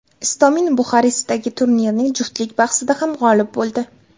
Istomin Buxarestdagi turnirning juftlik bahsida ham g‘olib bo‘ldi.